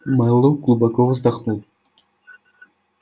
мэллоу глубоко вздохнул